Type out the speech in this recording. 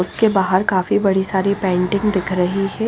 उसके बाहर काफी बड़ी सारी पेंटिंग दिख रही है।